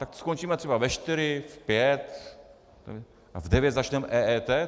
Tak skončíme třeba ve čtyři, v pět a v devět začneme EET?